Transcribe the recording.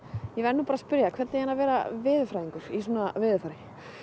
ég verð nú bara að spyrja þig hvernig er að vera veðurfræðingur í svona veðurfari